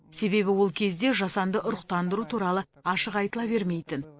себебі ол кезде жасанды ұрықтандыру туралы ашық айтыла бермейтін